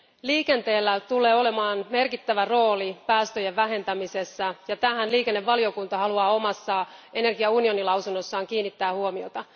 Liikenteellä tulee olemaan merkittävä rooli päästöjen vähentämisessä, ja tähän liikennevaliokunta haluaa omassa energiaunionilausunnossaan kiinnittää huomiota.